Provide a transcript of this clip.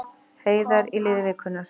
Heiðar í liði vikunnar